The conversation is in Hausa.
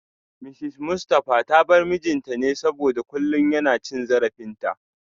Mrs Mustafa ta bar mijinta ne saboda kullum yana cin zarafinta